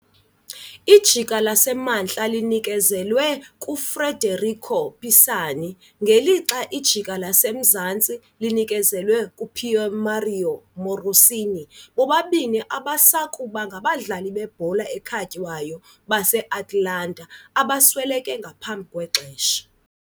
Ijika laseMantla linikezelwe kuFederico Pisani ngelixa ijika laseMzantsi linikezelwe kuPiermario Morosini, bobabini ababesakuba ngabadlali bebhola ekhatywayo base-Atalanta abasweleke ngaphambi kwexesha.